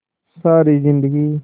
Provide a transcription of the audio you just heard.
सारी जिंदगी